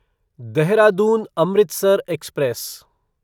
Dehradun Amritsar express